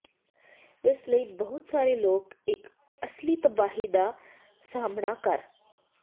ਇਸ ਲਈ ਬਹੁਤ ਸਾਰੇ ਲੋਕ ਇੱਕ ਅਸਲੀ ਤਬਾਹੀ ਦਾ ਸਾਹਮਣਾ ਕਰ